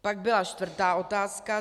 Pak byla čtvrtá otázka.